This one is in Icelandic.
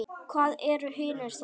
Hvað eru hinir þá?